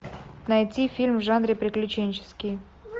найти фильм в жанре приключенческий